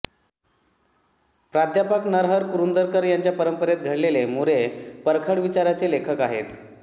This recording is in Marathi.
प्रा नरहर कुरूंदकर यांच्या परंपरेत घडलेले मोरे परखड विचारांचे लेखक आहेत